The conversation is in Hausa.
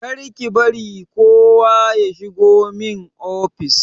Kar ki bari kowa ya shigo min ofis!